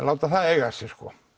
láta það eiga sig